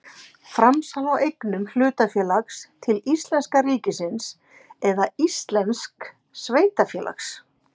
Framsal á eignum hlutafélags til íslenska ríkisins eða íslensks sveitarfélags.